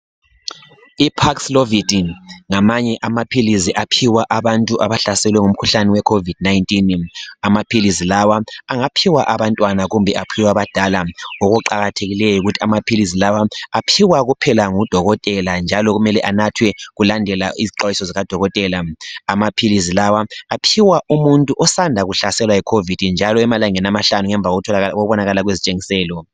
I paxlovidin ngamanye amaphilisi aphiwa abantu abahlaselwe ngumkhuhlane we COVID 19 amaphilisi lawa angaphiwa abantwana kumbe aphiwe abadala okuqakathekileyo yikuthi amaphilizi lawa aphiwa kuphela ngu dokotela njalo kumele anathwe kulandelwa izixwayiso zikadokotela amaphilizi lawa aphiwa umuntu osanda kuhlaselwa yi COVID njalo emalangeni amahlanu ngemva kokubobakala kwezitshengiselo